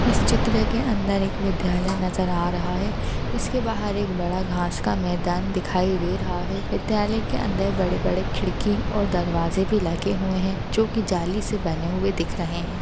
इस चित्र के अंदर एक विद्यालय नजर आ रहा है। इसके बाहर एक बड़ा घास का मैदान दिखाई दे रहा है। विद्यालय के अंदर बड़े बड़े खिड़की और दरवाजे भी लगे हुए है जो की जाली से बने हुए दिख रहे है।